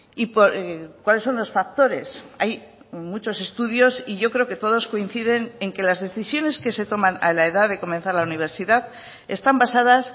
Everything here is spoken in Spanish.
y cuáles son los factores hay muchos estudios y yo creo que todos coinciden en que las decisiones que se toman a la edad de comenzar la universidad están basadas